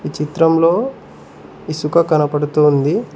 ఈ చిత్రంలో ఇసుక కనపడుతూ ఉంది.